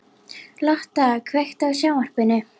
Lotta, kveiktu á sjónvarpinu.